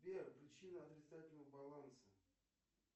сбер причина отрицательного баланса